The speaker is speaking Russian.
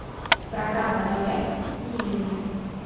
программа лояльности с милями